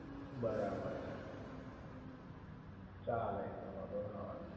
બરાબર છે ચાલે ઈ તો વાંધો ના આવે